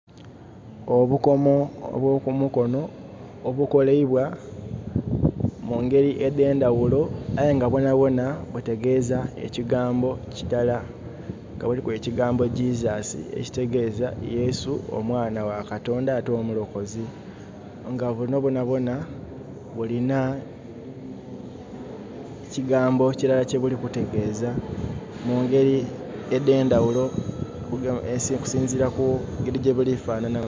Obukomo obwo kumukono, obukoleibwa mu ngeri edhendhaghulo aye nga bwonhabwonha butegeza ekigambokirala nga buliku ekigambo Jesus. ekitegeza; Yesu, omwaanha gha katondha ate omulokozi nga bunho bwonhabwonha bulinha ekigambo kirala kyebiri kutegeeza mungeri edhendhaghulo okusinzira kungeri gyebuli kufanhanhamu.